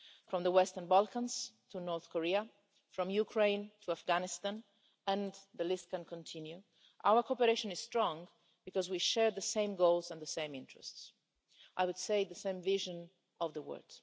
From the Western Balkans to North Korea, from Ukraine to Afghanistan and the list can continue our cooperation is strong because we share the same goals and the same interests and, I would say, the same vision of the world.